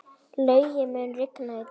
Laugi, mun rigna í dag?